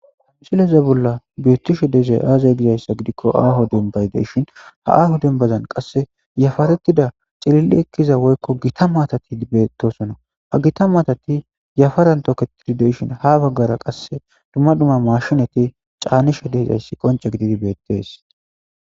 Misileze bolla bittishe deezay aazay gizayssa gidikko aaho dumbay deshin ha aaho dumbazan qasse yafaretida cilili ekkiza woykko gita maatati bettosona ha gita maatati yafaran toketidi deshin ha baggara qasse dumma dumma mashinati caanishe deezayssi qonce gididi beettees.